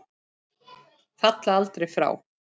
Falla aldrei frá.